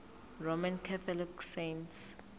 roman catholic saints